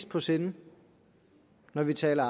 på sinde når vi taler